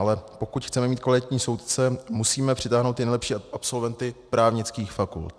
Ale pokud chceme mít kvalitní soudce, musíme přitáhnout ty nejlepší absolventy právnických fakult.